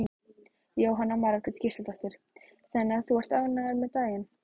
Jóhanna Margrét Gísladóttir: Þannig að þú ert ánægður með daginn?